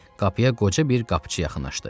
Qapıya qoca bir qapıçı yaxınlaşdı.